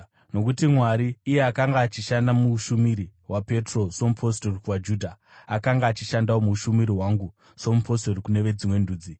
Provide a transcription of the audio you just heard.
Nokuti Mwari, iye akanga achishanda muushumiri hwaPetro somupostori kuvaJudha, akanga achishandawo muushumiri hwangu somupostori kune veDzimwe Ndudzi.